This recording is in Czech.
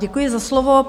Děkuji za slovo.